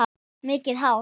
Mikið hár.